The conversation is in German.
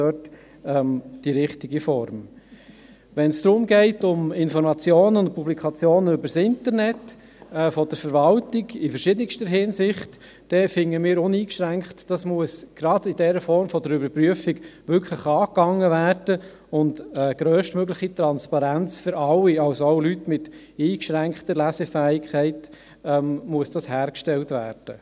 Wenn es in verschiedenster Hinsicht um Informationen und Publikationen der Verwaltung über Internet geht, dann finden wir uneingeschränkt, dies müsse gerade in der Form der Überprüfung angepackt werden und grösstmögliche Transparenz für alle, auch für Leute mit eingeschränkter Lesefähigkeit, hergestellt werden.